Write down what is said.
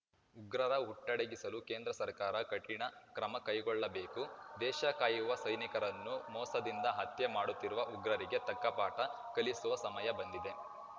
ಉಗ್ರರ ಹುಟ್ಟಡಗಿಸಲು ಕೇಂದ್ರ ಸರ್ಕಾರ ಕಠಿಣ ಕ್ರಮ ಕೈಗೊಳ್ಳಬೇಕು ದೇಶ ಕಾಯುವ ಸೈನಿಕರನ್ನು ಮೋಸದಿಂದ ಹತ್ಯೆ ಮಾಡುತ್ತಿರುವ ಉಗ್ರರಿಗೆ ತಕ್ಕ ಪಾಠ ಕಲಿಸುವ ಸಮಯ ಬಂದಿದೆ